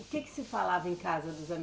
O que que se falava em casa dos ame